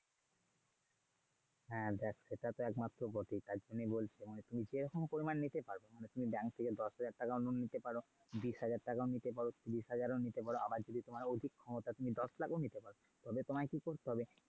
হ্যাঁ দেখ সেটা তো একমাত্র বটে তাই জন্য বলছি তুমি যেরকম পরিমাণ নিতে পারবে তুমি bank থেকে দশ হাজার টাকাও loan নিতে পারো, বিষ হাজার টাকাও নিতে পারো, তিরিশ হাজার ও নিতে পারো আবার যদি তোমার অধিক ক্ষমতা তুমি দশ লাখ ও নিতে পারো। তবে তোমায় কি করতে হবে?